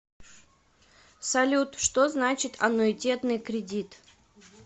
салют что значит аннуитетный кредит